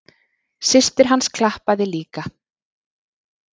Systir hans klappaði líka.